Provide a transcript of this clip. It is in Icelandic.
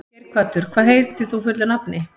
Geirhvatur, hvað heitir þú fullu nafni?